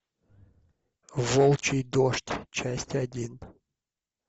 волчий дождь часть один